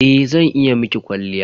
Eh zan iya miki kwalliya.